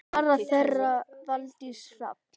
Barn þeirra Valdís Hrafna.